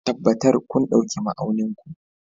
Tabbatar kun ɗauki ma'aunin ku